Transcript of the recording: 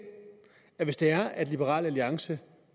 at hvis det er at liberal alliance